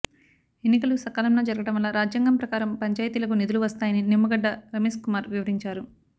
ఎన్నికలు సకాలంలో జరగడం వల్ల రాజ్యాంగం ప్రకారం పంచాయతీలకు నిధులు వస్తాయని నిమ్మగడ్డ రమేశ్కుమార్ వివరించారు